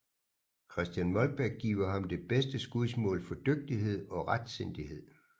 Christian Molbech giver ham det bedste skudsmål for dygtighed og retsindighed